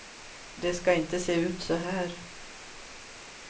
Det ska inte se ut så här.